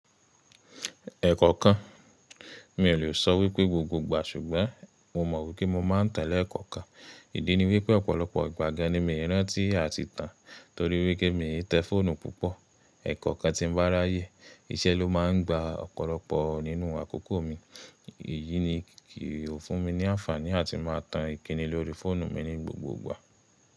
Ẹ̀kọ̀ọ̀kan mi ò lè sọ wípé gbogbo ìgbà ṣùgbọ́n mo mọ̀ wípé mo máa ń tẹ̀ ẹ́ lẹ́ẹ̀kọ̀ọ̀kan. Ìdí ni wípé ọ̀pọ̀lọpọ̀ ìgbà gan ni mi i rántí àti tàn torí wípé mi i tẹ fóònù púpọ̀. Ẹ̀kọ̀okan tí n bá ráyè, iṣẹ́ ló máa ń gba ọ̀pọ̀lọpọ̀ nínú àkókò mi, èyí ni kì o fún mi ní àǹfààní áti má a tan ìkíni lórí fóònù mi ní gbogbogbà.